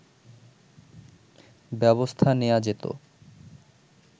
ব্যবস্থা নেয়া যেতো